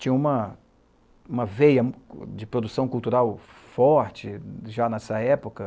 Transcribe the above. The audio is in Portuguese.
Tinha uma uma veia de produção cultural forte já nessa época.